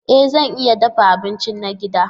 E zan iya dafa abinci na gida.